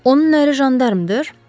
Onun əri jandarmdır?